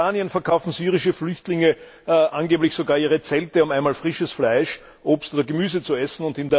In Jordanien verkaufen syrische Flüchtlinge angeblich sogar ihre Zelte, um einmal frisches Fleisch, Obst oder Gemüse zu essen.